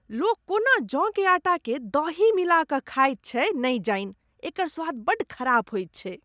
लोक कोना जौ के आटा के दही मिला कऽ खाइत छैक नहि जानि? एकर स्वाद बड्ड ख़राब होइत छैक।